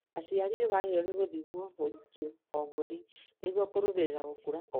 Aciari nĩmagĩrĩirwo nĩ gũthimwo ũritũ o mweri nĩguo kũrũmĩrĩra gũkũra kwao